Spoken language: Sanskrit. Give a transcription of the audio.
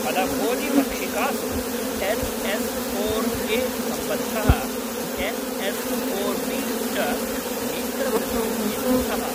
फलभोजिमक्षिकासु एन् एस् फोर् ए सम्बद्धः एन् एस् फोर् बि च नेत्रवृद्धिं निरुन्धः।